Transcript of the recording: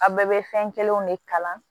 A bɛɛ bɛ fɛn kelenw de kala